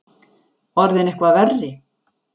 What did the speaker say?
Orðinn eitthvað verri?